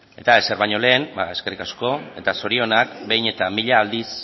eta ezer baino lehen ba eskerrik asko eta zorionak behin eta mila aldiz